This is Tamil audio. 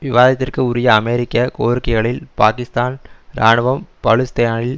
விவாதத்திற்கு உரிய அமெரிக்க கோரிக்கைகளில் பாக்கிஸ்தான் இராணுவம் பலுசிஸ்தானில்